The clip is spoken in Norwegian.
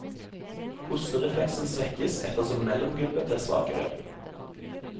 Hosterefleksen svekkes etter som mellomgulvet blir svakere.